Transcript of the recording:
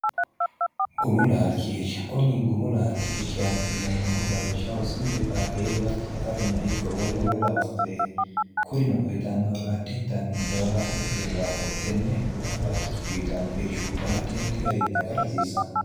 gumu laalchi irshakonyi gumu laalchi irshaati yineemmohu lawishshahu sinde baaqeelu hatto atarunna ikko wole wole lawannoreeti kurino uyitannohoro addintanni jawaata ikkino daafo tenne guma laalchi uyitanno irshubba addi addi garinni aga rasiissanno